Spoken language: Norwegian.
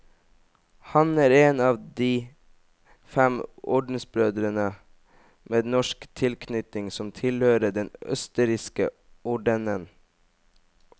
Han er en av de fem ordensbrødre med norsk tilknytning som tilhører den østerrikske ordenen.